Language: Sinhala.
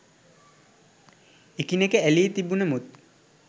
එකිනෙක ඇලී තිබුණමුත්